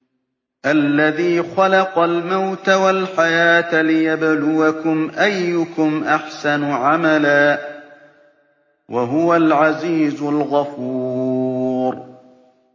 الَّذِي خَلَقَ الْمَوْتَ وَالْحَيَاةَ لِيَبْلُوَكُمْ أَيُّكُمْ أَحْسَنُ عَمَلًا ۚ وَهُوَ الْعَزِيزُ الْغَفُورُ